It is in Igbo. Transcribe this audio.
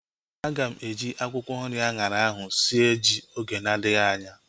Aga m eji akwụkwọ nri anyara ahu sie ji oge na adịghị anya